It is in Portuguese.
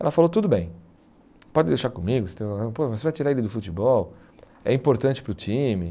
Ela falou, tudo bem, pode deixar comigo, você vai tirar ele do futebol, é importante para o time.